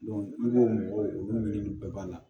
i b'o mɔgɔw olu ɲini bɛɛ b'a la